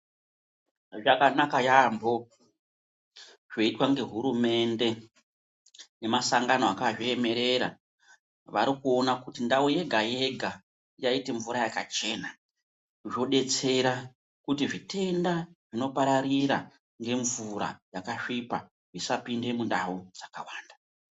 Zvakanaka yaambo zvoitwanehurumende nemasangano akaremerera varikuona kuti ndau yega yega yaite mvura yakachena zvodetsera kuti zvitenda zvinopararira ngemvura yakasvipa zvisapinde mundau dzakawanda.